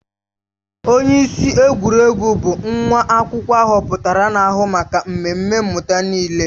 Onyeisi egwuregwu bụ nwa akwụkwọ ahọpụtara na-ahụ maka mmemme mmụta niile